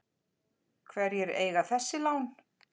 Hverjir eiga þessi lán?